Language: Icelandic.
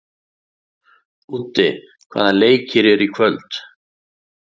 Úddi, hvaða leikir eru í kvöld?